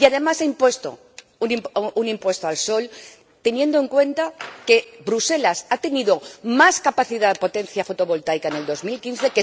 Y, además, ha impuesto un impuesto al sol, teniendo en cuenta que Bruselas ha tenido más capacidad de potencia fotovoltaica en 2015